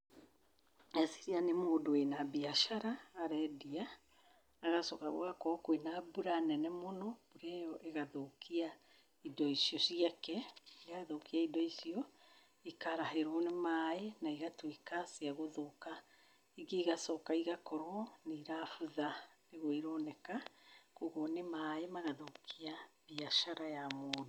Ndeciria nĩ mũndũ wĩna mbiacara arendia, agacoka gũgakorwo kwĩna mbura nene mũno, mbura ĩo ĩgathũkia indo icio ciake. Yathũkia indo icio, ikarahĩrwo nĩ maĩ na igatuĩka ciathũka, ingĩ igacoka igakorwo nĩ irabutha, nĩguo ironeka, ũguo nĩ maĩ magathũkia mbiacara ya mũndũ.